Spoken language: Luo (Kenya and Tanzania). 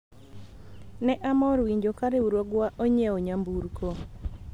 ne amor winjo ka riwruogwa onyiewo nyamburko